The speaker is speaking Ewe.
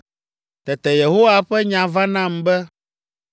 Tete Yehowa ƒe nya va nam be,